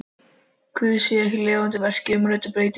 Guðs þar af leiðandi að verki í umræddum umbreytingum.